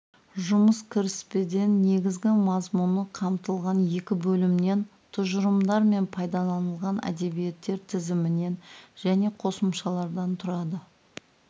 жұмыс кіріспеден негізгі мазмұны қамтылған екі бөлімнен тұжырымдар мен пайдаланылған әдебиеттер тізімінен және қосымшалардан тұрады